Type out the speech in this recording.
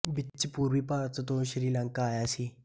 ਵਿੱਚ ਪੂਰਬੀ ਭਾਰਤ ਤੋਂ ਸ਼੍ਰੀ ਲੰਕਾ ਆਇਆ ਸੀ